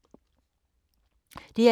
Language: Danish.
DR2